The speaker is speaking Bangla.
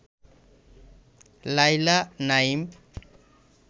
নাইলা নাইম